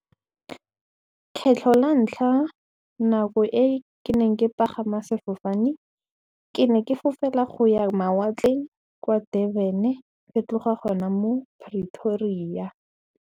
Kgetlho la ntlha nako e ke neng ke pagama sefofane ke ne ke fofela go ya mawatleng kwa Durban e fa tlo ga gona mo Pretoria.